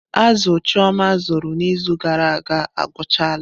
Azụ chioma azụrụ n'izu gara aga agwụchala.